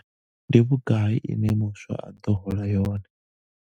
Ndi vhugai ine muswa a ḓo hola yone?